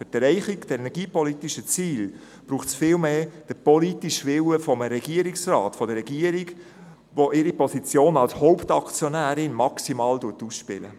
Für die Erreichung der energiepolitischen Ziele braucht es vielmehr den politischen Willen eines Regierungsrates, einer Regierung, die ihre Position als Hauptaktionärin maximal ausspielt.